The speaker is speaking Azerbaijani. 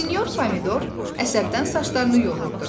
Sinor Pomidor əsəbdən saçlarını yolurdu.